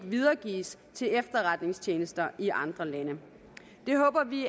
videregives til efterretningstjenester i andre lande det håber vi